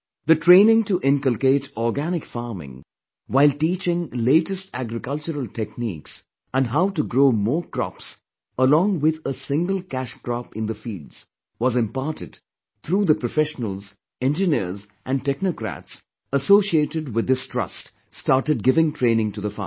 The training to inculcate organic farming while teaching latest agricultural techniques and how to grow more crops along with a single cash crop in the fields was imparted through the professional, engineers and technocrats associated with this trust started giving training to the farmers